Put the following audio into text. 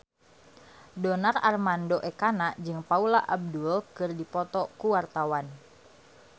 Donar Armando Ekana jeung Paula Abdul keur dipoto ku wartawan